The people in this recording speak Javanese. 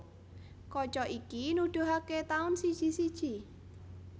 Kaca iki nuduhaké taun siji siji